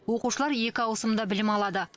оқушылар екі ауысымда білім алады